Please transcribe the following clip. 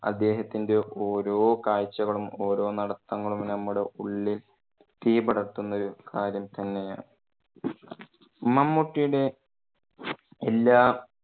അദ്ദേഹത്തിന്റെ ഓരോ കാഴ്ചകളും ഓരോ നടത്തങ്ങളും നമ്മുടെ ഉള്ളിൽ തീ പടർത്തുന്ന ഒരു കാര്യം തന്നെയാണ് മമ്മൂട്ടിയുടെ എല്ലാം